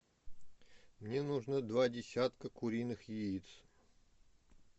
мне нужно два десятка куриных яиц